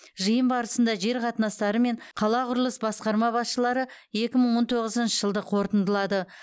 жиын барысында жер қатынастары мен қала құрылыс басқарма басшылары екі мың он тоғызыншы жылды қорытындылады